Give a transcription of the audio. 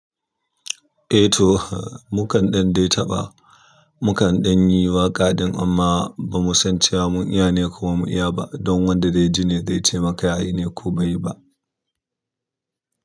Eh to, mukan ɗan dai taɓa, mu kan ɗanyi waƙa ɗin amma ba mu san cewa mun iya ne ko mu iya ba don wanda zaiji ne zai ce maka ya yi ne ko bai yi ba.